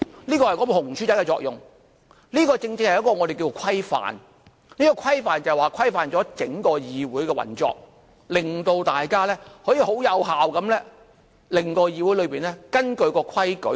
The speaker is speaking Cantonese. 這是"紅書仔"的作用，這正正是我們說的規範，規範了整個議會的運作，令大家可以很有效地使議會根據規矩辦事。